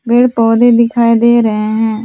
पेड़ पौधे दिखाई दे रहे हैं।